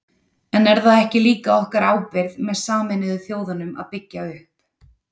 En er það ekki líka okkar ábyrgð með Sameinuðu þjóðunum að byggja upp?